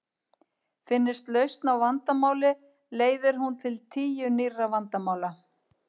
Finnist lausn á vandamáli leiðir hún til tíu nýrra vandamála.